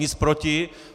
Nic proti.